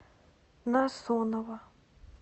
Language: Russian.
насонова